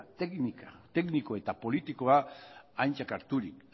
tekniko eta politikoa aintzat harturik